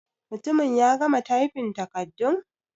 Mutumin ya gama tyfin takardun?